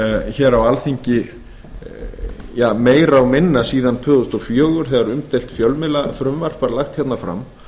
hér á alþingi meira og minna síðan tvö þúsund og fjögur þegar umdeilt fjölmiðlafrumvarp var lagt fram